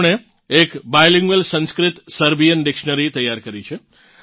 તેમણે એક bilingual Sanskrit Serbian dictionary તૈયાર કરી છે